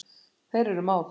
Þeir eru mát.